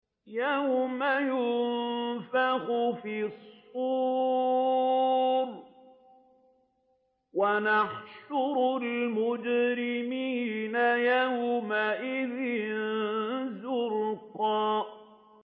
يَوْمَ يُنفَخُ فِي الصُّورِ ۚ وَنَحْشُرُ الْمُجْرِمِينَ يَوْمَئِذٍ زُرْقًا